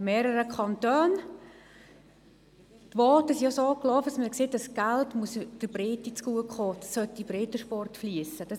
Die Voten zeigten, dass dieses Geld der Breite zugutekommen, dass es in den Breitensport fliessen soll.